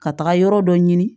Ka taga yɔrɔ dɔ ɲini